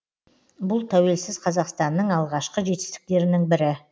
бұл тәуелсіз қазақстанның алғашқы жетістіктерінің бірі